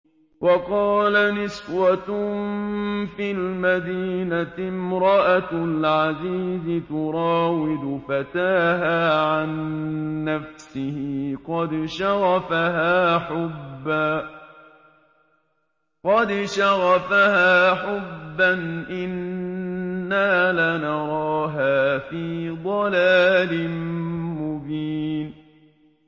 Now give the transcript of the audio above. ۞ وَقَالَ نِسْوَةٌ فِي الْمَدِينَةِ امْرَأَتُ الْعَزِيزِ تُرَاوِدُ فَتَاهَا عَن نَّفْسِهِ ۖ قَدْ شَغَفَهَا حُبًّا ۖ إِنَّا لَنَرَاهَا فِي ضَلَالٍ مُّبِينٍ